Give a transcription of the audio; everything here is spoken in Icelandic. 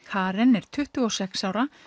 Karen er tuttugu og sex ára